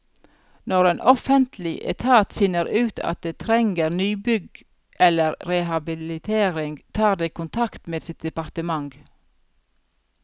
Når en offentlig etat finner ut at det trenger nybygg eller rehabilitering, tar det kontakt med sitt departement.